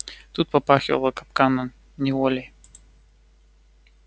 тут попахивало капканом неволей